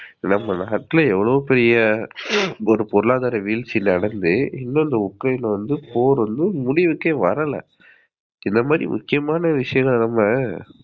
நம்ம நாட்டுல எவளோ பெரிய ஒரு பொருளாதாரவீழ்ச்சி நடந்து, இன்னோ அந்த உக்ரேன் போர் வந்து முடிவுக்கே வரல. இந்தமாதிரி முக்கியமான விஷயத்த நம்ம